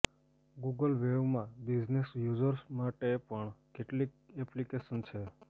Google વેવમાં business users માટે પણ કેટલીક એપ્લિકેશન છે